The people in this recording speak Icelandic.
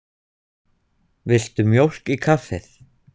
Viltu mjólk í kaffið?